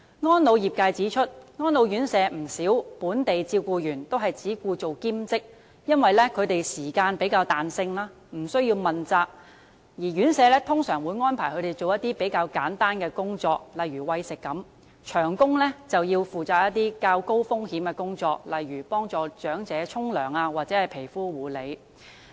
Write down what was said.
安老業界指出，不少安老院舍的本地照顧員均只願做兼職，因為時間有較大彈性，無須問責，而院舍通常會安排他們做比較簡單的工作，例如餵食；長工則要負責較高風險的工作，例如協助長者洗澡及皮膚護理。